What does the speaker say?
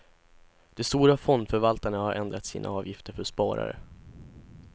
De stora fondförvaltarna har ändrat sina avgifter för sparare.